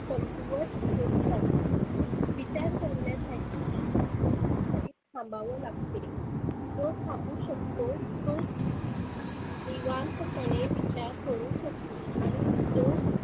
कमकुवत होत जाते. विचार करण्यासाठी माणसाला कुठे तरी थांबावे लागते. जो थांबु शकतो तोच निवांत पणे विचार करु शकतो आणि जो